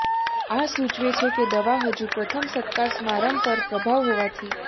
આ સૂચવે છે કે દવા હજુ પ્રથમ સત્કાર સમારંભ પર પ્રભાવ હોવાથી